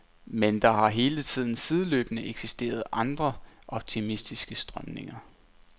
Men der har hele tiden sideløbende eksisteret andre, optimistiske strømninger.